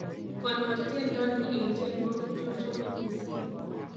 Konor tiendo ni eng tiewokik chachome mising'